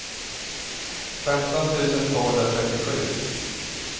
femton tusen tvåhundratrettiosju